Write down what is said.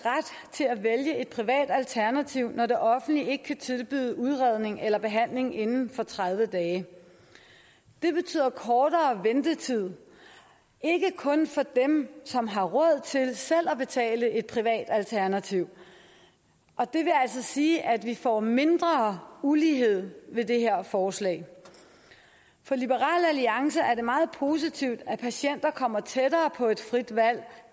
til at vælge et privat alternativ når det offentlige ikke kan tilbyde udredning eller behandling inden for tredive dage det betyder kortere ventetid ikke kun for dem som har råd til selv at betale et privat alternativ og det vil altså sige at vi får mindre ulighed ved det her forslag for liberal alliance er det meget positivt at patienterne kommer tættere på et frit valg